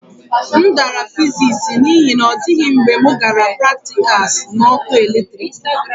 M dara fiziks n'ihi na ọ dịghị mgbe m gara praktikals na ọkụ eletrik